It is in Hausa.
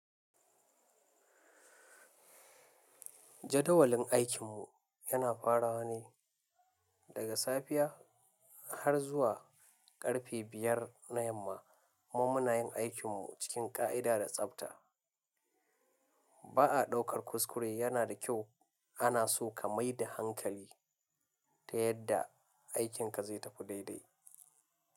Jadawalin aikinmu yana farawa ne daga safiya har zuwa karfe biyar na yamma, mun munayin aikinmu cikin ƙa'ida da tsafta. Ba a ɗaukar kuskure yana da kyau ana so ka mai da hankali ta yadda aikinka zai tafi daidai.